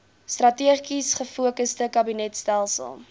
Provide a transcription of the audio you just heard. strategies gefokusde kabinetstelsel